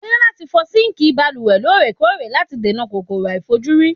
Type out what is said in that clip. O ní láti fọ síǹkì balùwẹ̀ lóòrèkóòrè láti dènà kòkòrò àìlèfojúrí.